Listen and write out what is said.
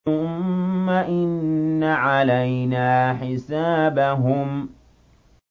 ثُمَّ إِنَّ عَلَيْنَا حِسَابَهُم